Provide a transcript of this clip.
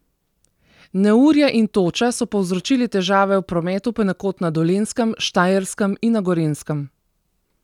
Neurja in toča so povzročili težave v prometu ponekod na Dolenjskem, Štajerskem in na Gorenjskem.